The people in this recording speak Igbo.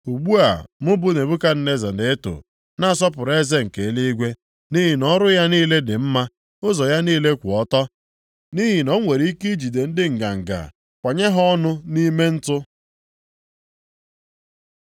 Ugbu a, mụ bụ Nebukadneza na-eto, na-asọpụrụ Eze nke eluigwe, nʼihi na ọrụ ya niile dị mma, ụzọ ya niile kwụ ọtọ. Nʼihi na o nwere ike ijide ndị nganga kwanye ha ọnụ nʼime ntụ.